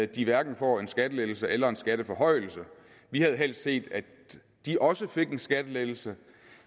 de hverken får en skattelettelse eller en skatteforhøjelse vi havde helst set at de også fik en skattelettelse